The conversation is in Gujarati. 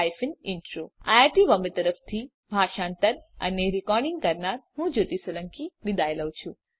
iit બોમ્બે તરફથી સ્પોકન ટ્યુટોરીયલ પ્રોજેક્ટ માટે ભાષાંતર કરનાર હું જ્યોતી સોલંકી વિદાય લઉં છું